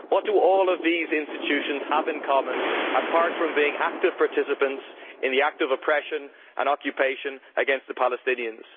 What do all of these institutions have in common, apart from being active participants in the act of oppression and occupation against the Palestinians?